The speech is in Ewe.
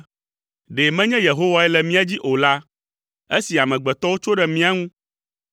“Ɖe menye Yehowae le mía dzi o la, esi amegbetɔwo tso ɖe mía ŋu,